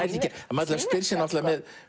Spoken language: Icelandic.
maður spyr sig með